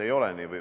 Ei ole nii!